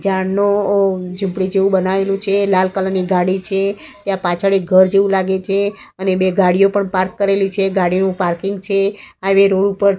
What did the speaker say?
ઝાડનું ઝુપડી જેવુ બનાવેલુ છે લાલ કલર ની ગાડી છે ત્યાં પાછળ એક ઘર જેવુ લાગે છે અને બે ગાડીઓ પણ પાર્ક કરેલી છે ગાડીનુ પાર્કિંગ છે રોડ ઉપર--